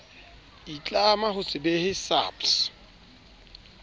itlama ho se behe saps